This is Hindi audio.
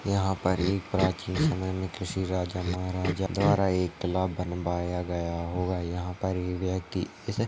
यहाँ पर एक प्राचीन समय में किसी राजा महाराजा द्वारा एक तलाब बनवाया होगा यहाँ पर एक व्यक्ति--